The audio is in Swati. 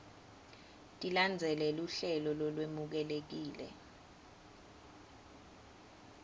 tilandzele luhlelo lolwemukelekile